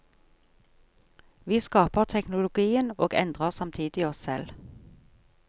Vi skaper teknologien og endrer samtidig oss selv.